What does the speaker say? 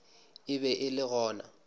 e be e le gona